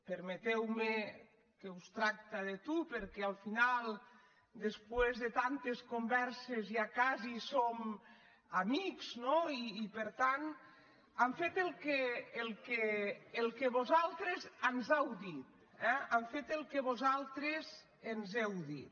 permeteu·me que us tracti de tu perquè al final després de tantes converses ja quasi som amics no i per tant hem fet el que vosaltres ens heu dit eh hem fet el que vosaltres ens heu dit